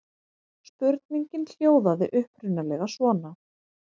Spurningin hljóðaði upprunalega svona: